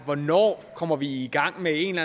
hvornår vi kommer i gang med en